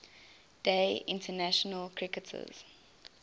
day international cricketers